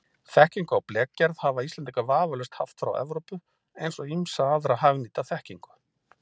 Þekkingu á blekgerð hafa Íslendingar vafalaust haft frá Evrópu eins og ýmsa aðra hagnýta þekkingu.